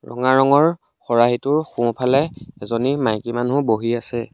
ৰঙা ৰঙৰ খৰাহিটোৰ সোঁ ফালে এজনী মাইকী মানুহ বহি আছে।